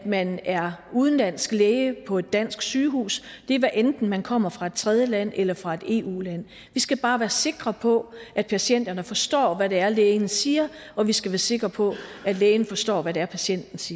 man er udenlandsk læge på et dansk sygehus hvad enten man kommer fra et tredjeland eller fra et eu land vi skal bare være sikre på at patienterne forstår hvad det er lægen siger og vi skal være sikre på at lægen forstår hvad det er patienten siger